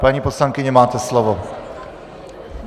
Paní poslankyně, máte slovo.